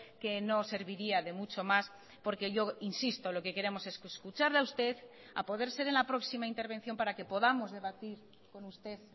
que no serviría de mucho más porque yo insisto lo que queremos es escucharle a usted a poder ser en la próxima intervención para que podamos debatir con usted